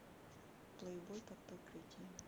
плейбой под прикрытием